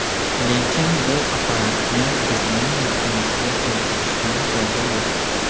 Lekin bu apparatni bizning yurtimizga keltirishdan foyda yo‘q.